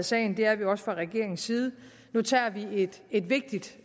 sagen det er vi også fra regeringens side nu tager vi et vigtigt